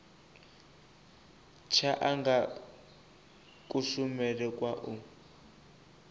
tsha anga kushumele kwa u